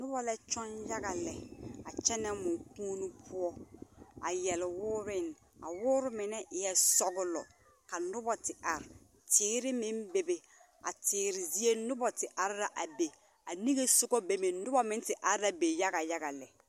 Noba la kyoŋ yage lɛ, a kyɛnɛ mokuoni poɔ a yɛre wooreŋ. A woore mine eɛɛ sɔgelɔ. Ka noba te are, teere meŋ Bebe, a teere zie noba te are la a be. A niŋe sogɔ be meŋ, noba meŋ te are la be yaga yaga lɛ.